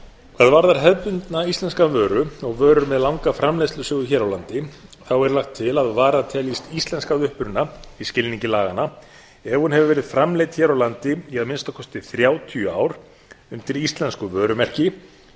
hvað gerðar hefðbundna íslenska vöru og vöru með langa framleiðslusögu hér á landi þá er lagt til að varan teljist íslensk að uppruna í skilningi laganna ef hún hefur verið framleidd hér á landi í að minnsta kosti þrjátíu ár undir íslensku vörumerki